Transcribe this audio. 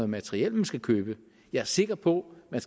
materiel man skal købe jeg er sikker på at man